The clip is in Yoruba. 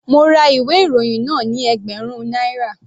Mo ra ìwé ìròyìn náà ni ẹgbẹ̀rún náírà.